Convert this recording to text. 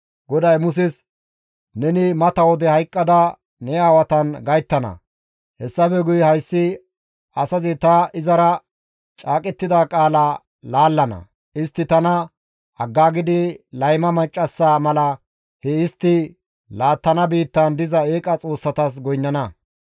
GODAY Muses, «Neni mata wode hayqqada ne aawatan gayttana; hessafe guye hayssi asazi ta izara caaqettida qaalaa laallana; istti tana aggaagidi layma maccassa mala he istti laattana biittaan diza eeqa xoossatas goynnana.